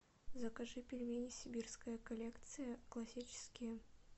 закажи пельмени сибирская коллекция классические